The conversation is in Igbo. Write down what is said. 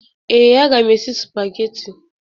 Ee, a mga m esi sụpagheti.